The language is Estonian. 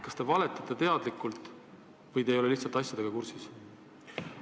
Kas te valetate teadlikult või te ei ole lihtsalt asjadega kursis?